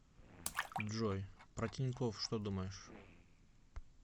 джой про тинькофф что думаешь